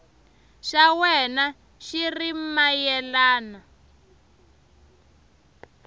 xa wena xi ri mayelana